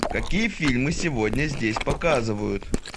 какие фильмы сегодня здесь показывают